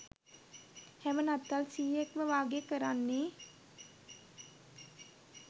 හැම නත්තල් සීයෙක්ම වගේ කරන්නේ